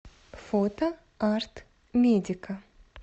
фото арт медика